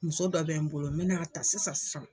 Muso dɔ bɛ n bolo n be na ta sisan sisan.